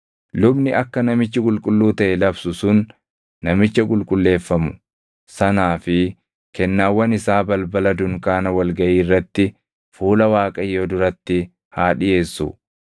Lubni akka namichi qulqulluu taʼe labsu sun namicha qulqulleefamu sanaa fi kennaawwan isaa balbala dunkaana wal gaʼii irratti fuula Waaqayyoo duratti haa dhiʼeessu.